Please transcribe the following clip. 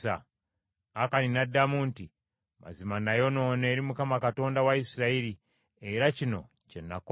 Akani n’addamu nti, “Mazima nayonoona eri Mukama Katonda wa Isirayiri era kino kye nakola.